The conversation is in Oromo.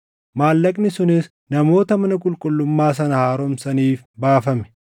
maallaqni sunis namoota mana qulqullummaa sana haaromsaniif baafame.